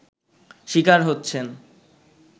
শিকার হচ্ছেন